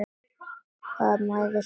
Hvað mæðir þig sonur?